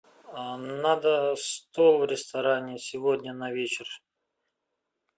надо стол в ресторане сегодня на вечер